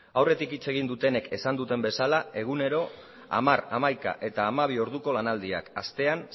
aurretik hitz egin dutenek esan duten bezala egunero hamar hamaika eta hamabi orduko lanaldiak astean